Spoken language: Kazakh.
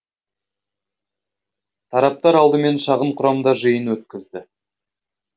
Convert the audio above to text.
тараптар алдымен шағын құрамда жиын өткізді